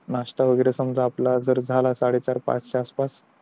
नाश्ता वैगेरे जर समझा झाला आपला साडे चार पाच च्या आस पास